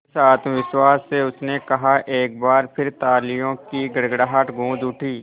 जिस आत्मविश्वास से उसने कहा एक बार फिर तालियों की गड़गड़ाहट गूंज उठी